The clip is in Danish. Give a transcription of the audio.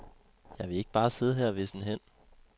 Jeg vil ikke bare sidde her og visne hen.